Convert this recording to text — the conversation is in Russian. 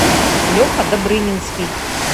леха добрынинский